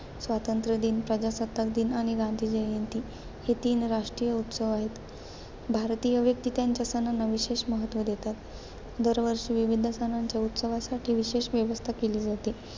स्वातंत्र्य दिन, प्रजासत्ताक दिन आणि गांधी जयंती हे तीन राष्ट्रीय उत्सव आहेत. भारतीय व्यक्ती त्यांच्या सणांना विशेष महत्त्व देतात. दरवर्षी विविध सणांच्या उत्सवासाठी विशेष व्यवस्था केली जाते.